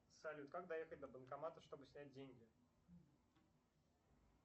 салют как доехать до банкомата чтобы снять деньги